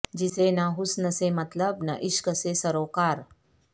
جسے نہ حسن سے مطلب نہ عشق سے سروکار